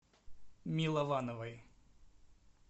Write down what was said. миловановой